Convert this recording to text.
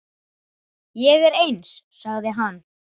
Ég er eins, sagði hann.